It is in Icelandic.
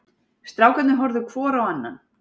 Strákarnir horfðu hvor á annan.